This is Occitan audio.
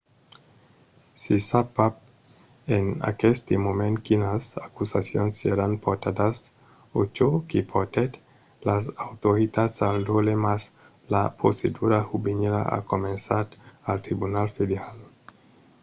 se sap pas en aqueste moment quinas acusacions seràn portadas o çò que portèt las autoritats al dròlle mas la procedura juvenila a començat al tribunal federal